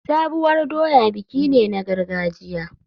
Sabuwar doya biki ne na gargajiya.